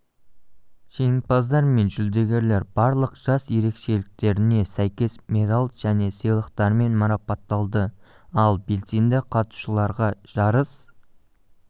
жеңімпаздар мен жүлдегерлер барлық жас ерекшеліктеріне сәйкес медал және сыйлықтармен марапатталды ал белсенді қатысушыларға жарыс